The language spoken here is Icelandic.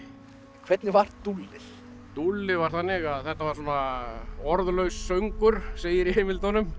hvernig var dúllið dúllið var þannig að þetta var orðlaus söngur segir í heimildunum